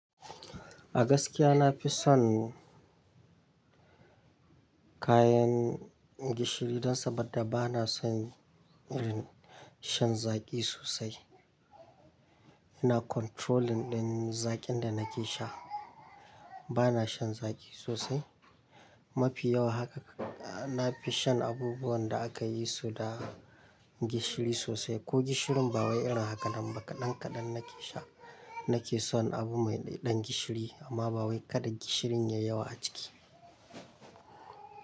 A gaskiya na fi son kayan gishiri dan saboda bana son yin shan zaƙi sosai. Ina controlling din zaƙin da nake sha. Bana shan zaƙi sosai. Mafi yawa haka na fi shan abubuwan da aka yi su da gishiri sosai ko gishirin ba wai yana haka nan ba kaɗan kaɗan nake sha. Nake son abu mai ɗan gishiri amma ba wai kada gishirin ya yi yawa a ciki.